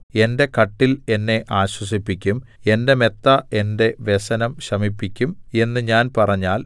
എന്റെ കട്ടിൽ എന്നെ ആശ്വസിപ്പിക്കും എന്റെ മെത്ത എന്റെ വ്യസനം ശമിപ്പിക്കും എന്ന് ഞാൻ പറഞ്ഞാൽ